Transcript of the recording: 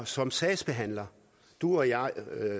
som sagsbehandlere du og jeg og